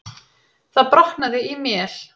Það brotnaði í mél.